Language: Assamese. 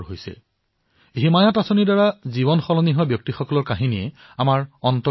ইয়াৰ অধীনত প্ৰায় পাঁচহাজাৰ লোকে কৰবাত নহয় কৰবাত কৰ্ম সংস্থাপন লাভ কৰিছে আৰু বহুতে স্বৰোজগাৰৰ দিশতো অগ্ৰসৰ হৈছে